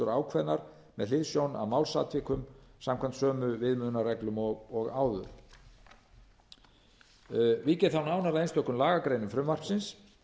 ákveðnar með hliðsjón af málsatvikum samkvæmt sömu viðmiðunarreglum og áður vík ég þá nánar að lagagreinum frumvarpsins